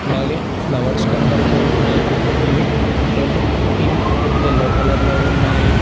అలాగే ఫ్లవర్స్ కనబడుతూ ఉన్నాయి అవి రెడ్ పింక్ యెల్లో కలర్ లో ఉన్నాయి.